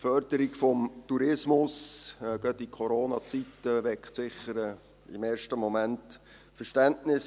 Die Förderung des Tourismus weckt sicher gerade in Corona-Zeiten im ersten Moment Verständnis.